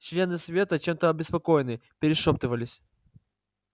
члены совета чем-то обеспокоенные перешёптывались